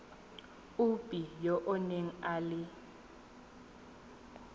ope yo o nang le